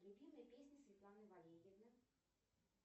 любимые песни светланы валерьевны